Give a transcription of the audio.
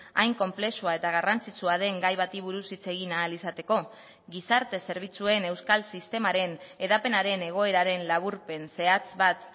hain konplexua eta garrantzitsua den gai bati buruz hitz egin ahal izateko gizarte zerbitzuen euskal sistemaren hedapenaren egoeraren laburpen zehatz bat